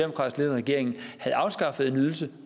regering havde afskaffet en ydelse